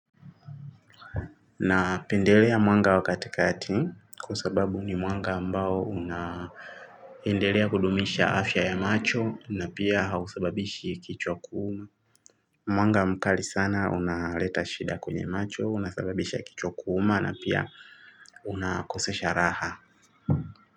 Na pendelea mwanga wakati kati kwasababu ni mwanga ambao unaendelea kudumisha afya ya macho na pia hausababishi kichwa kuuma. Mwanga mkali sana unaleta shida kwenye macho unasababisha kichwa kuuuma na pia unakosesha raha.